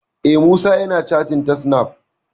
Eh, Musa yana cattin ta snaf